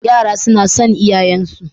Yara suna son iyayen su